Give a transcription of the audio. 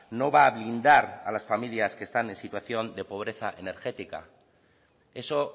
no va a blindar a las familias que están en situación de pobreza energética eso